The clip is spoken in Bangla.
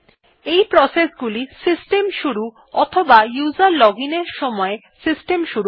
এই প্রসেস গুলি সিস্টেম শুরু অথবা উসের লজিন এর সময় সিস্টেম শুরু করে